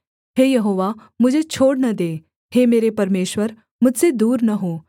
हे यहोवा मुझे छोड़ न दे हे मेरे परमेश्वर मुझसे दूर न हो